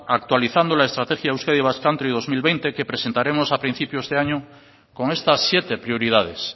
actualizando la estrategia euskadi basque country dos mil veinte que presentaremos a principios de año con estas siete prioridades